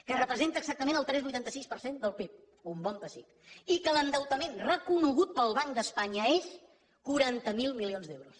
que representa exactament el tres coma vuitanta sis per cent del pib un bon pessic i que l’endeutament reconegut pel banc d’espanya és de quaranta miler milions d’euros